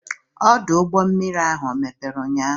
Ọdụ ụgbọ mmiri ahụ ọ mepere ụnyaahụ?